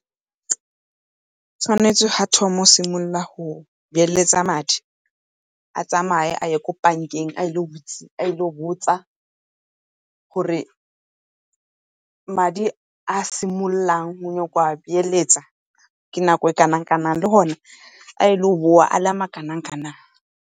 Tshwanetse ga thoma go simolola go beeletsa madi a tsamaye a ye ko bank-eng, a ile go botsa gore madi a simololang go nyaka go a beeletsa ke nako e kanang-kanang le gone a tlo boa a le makanang-kanang.